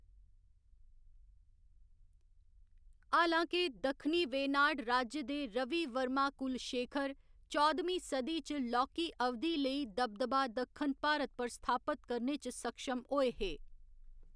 हालाँके, दक्षिणी वेनाड राज्य दे रवि वर्मा कुलशेखर, चौह्‌दमीं सदी च लौह्की अवधि लेई दबदबा दक्खन भारत पर स्थापत करने च सक्षम होए हे।